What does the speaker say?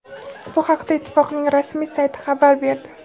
Bu haqda ittifoqning rasmiy sayti xabar berdi.